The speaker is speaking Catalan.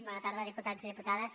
bona tarda diputats i diputades